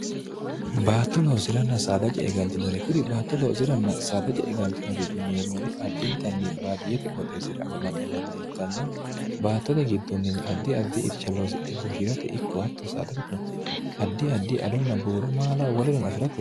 baatto loosi'ranna saadaje e galtinore kudi baatto loosi'ranna saadaje egaltinori yineemmori addintanni baadiyete qooxeesira afamanno manna ikkanna baattote giddonnino addi addi ircheloosidhe fushi'rate ikko hatto saadano addi addi adonna buuro maala wolonoono afi'rae